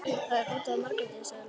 Það er út af Margréti, sagði Lóa.